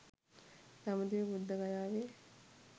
දඹදිව බුද්ධගයාවේ